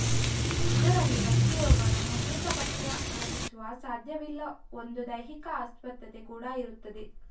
ಇದರಲ್ಲಿ ವ್ಯಕ್ತಿಯೋರ್ವನ ಮುದ್ರಿತ ಪಠ್ಯ ಗ್ರಹಿಸುವ ಸಾಧ್ಯವಿಲ್ಲ ಒಂದು ದೈಹಿಕ ಅಸ್ವಸ್ಥತೆ ಕೂಡ ಇರುತ್ತದೆ